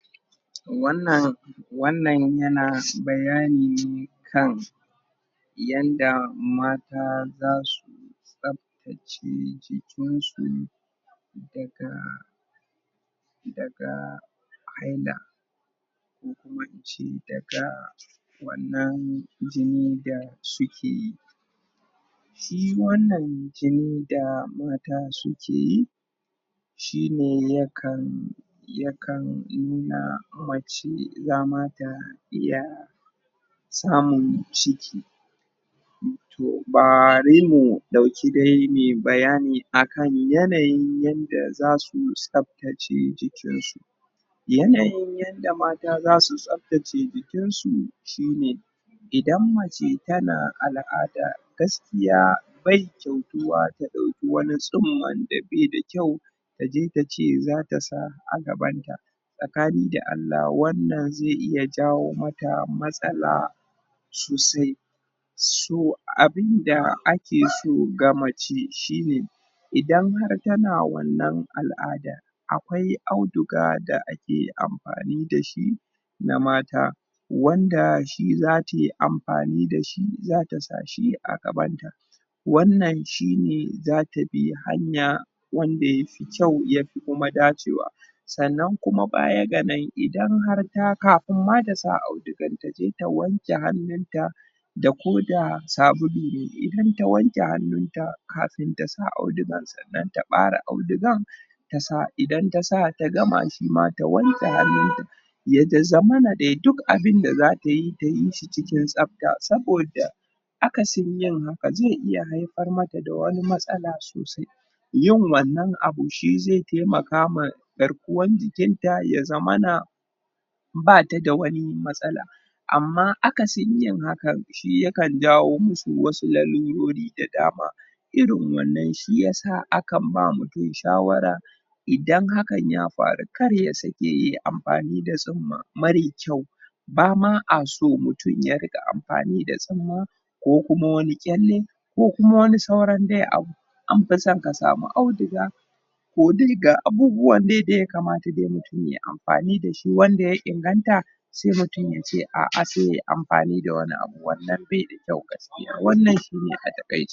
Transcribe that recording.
wannan yana bayani kan yanda mata za su tsaftace jikin su daga daga? ko kuma in ce daga wannan jini da su ke shi wannan jinin da mata su ke yi shi ne yakan yakan nuna mace za ma ta iya samun ciki toh? ne dauki dai mu yi bayani akan yanayin yan da za su tsaftace jikin su yanayi yanda mata za su tsaftace jikin su shi ne idan mace ta na al'ada gaskiya bai kyautuwa ta dauki wani sunma da bai da kyau ta je ta ce za ta sa a gaban ta tsakani da Allah wannan zai iya jawo mata masala sosai so abun da ake so ga mace shi ne idan har ta na wannan al'ada akwai auduga da ake amfani dashi na mata wanda shi za ta yi amfani da shi za ta sashi a gabanta wannan shi ne za ta bi hanya wanda ya fi kyau ya fi kuma dacewa sannan kuma baya ga nan idan har kafinma ta sa audugan ta je ta wanke hannun ta da ko da sabulu ne ta je ta wanke hannun ta kafin ta sa hannun ta dan ta bare audugan idan ta sa ta gama shi kuma ta wanke hannun ta ya dai zamana dai duk abun da za ta yi ta yi shi cikin tsafta saboda? yin haka zai iya haifar mata da wani matsala sosai yin wannan abun shi zai taimaka ma garkuwan jiki ta ya zamana ba ta da wani matsala amma aka sunyin haka shi yakan jawo musu lalurori da dama irin wannan shi ya sa akan ba mutum shawara idan hakan ya farukar ya sake ya amfani da sunma mare kyau ba ma a somutum ya rinka amfani da sunma ko kuma wani kyale ko kuma wani dai abu an fi son ka samu auduga ko dai ga abubuwan da ya dai kamata ya yi amfani da shi wanda ya inganta sai mutum ya ce a'a sai ya amfani da wani abu wannan bai da kyau gaskiya wannan shi ne a takaice